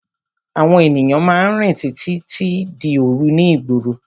Àwọn ènìyàn máa ń rìn títí di òru ní ìgboro.